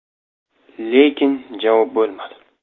Lekin javob bo‘lmadi.